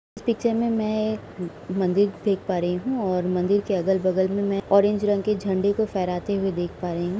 इस पिक्चर में मैं एक म मंदिर देख पा रही हूं और मंदिर के अगल-बगल में ऑरेंज रंग के झंडे को फहराते हुए देख पा रही हुँ।